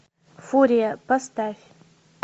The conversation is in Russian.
фурия поставь